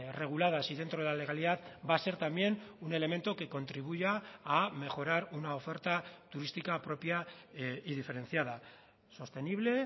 reguladas y dentro de la legalidad va a ser también un elemento que contribuya a mejorar una oferta turística propia y diferenciada sostenible